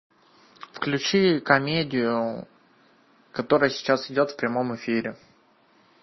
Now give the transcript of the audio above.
включи комедию которая сейчас идет в прямом эфире